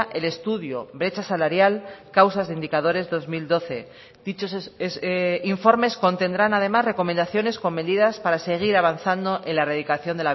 el estudio brecha salarial causas de indicadores dos mil doce dichos informes contendrán además recomendaciones con medidas para seguir avanzando en la erradicación